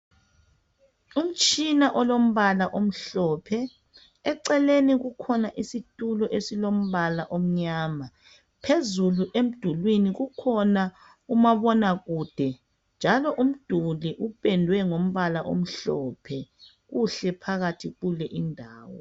Umtshina olombala omhlophe eceleni kukhona isitulo esilombala omnyama. Phezulu emdulini kukhona umabonakude. Njalo umduli upendwe ngombala omhlophe. Kuhle phakathi kule indawo.